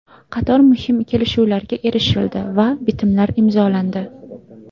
Qator muhim kelishuvlarga erishildi va bitimlar imzolandi.